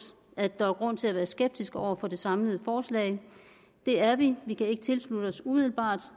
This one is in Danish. at der er grund til at være skeptiske over for det samlede forslag det er vi vi kan ikke tilslutte os umiddebart